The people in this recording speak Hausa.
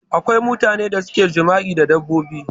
Akwai mutane da suke jima'i da dabbobi